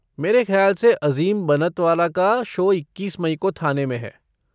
मेरे ख्याल से अज़ीम बनतवाला का शो इक्कीस मई को थाने में है।